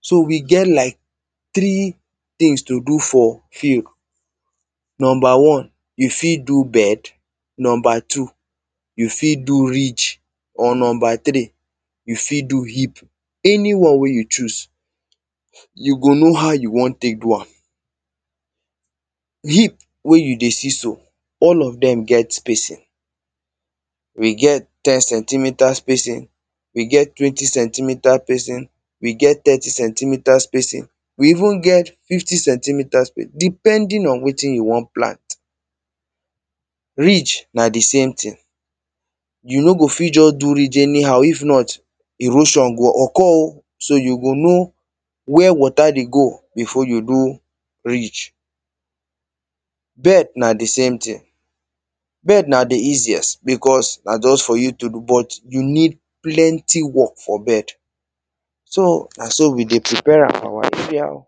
So, we get lak three things to do for field. Number one, you fit do bed, number two, you fit do ridge. Or number three, you fit do heap. Anyone wey you choose, you go know how you wan tek do am. Heap wey you dey see so, all of them get spacing. We get ten centimetre spacing, we get twenty centimetre spacing, we get thirty centimetre spacing. We even get fifty centimetre spacing, depending on wetin you wan plant. Ridge na the same thing. You no go fit just do ridge anyhow, if not erosion go occur o. so you go know wey water dey go before you do ridge. Bed na the same thing. Bed na the easiest because na just for you to.do but you need plenty work for bed. So, na so we dey prepare am